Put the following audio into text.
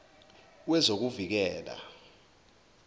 wezokuvikela